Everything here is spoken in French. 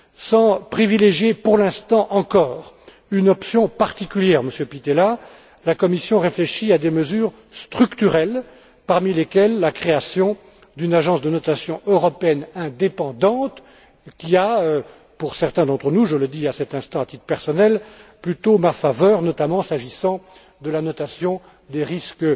Sans privilégier, pour l'instant encore, une option particulière, Monsieur Pittella, la Commission réfléchit à des mesures structurelles, parmi lesquelles la création d'une agence de notation européenne indépendante qui a, pour certains d'entre nous, je le dis à cet instant à titre personnel, plutôt ma faveur, s'agissant notamment de la notation des risques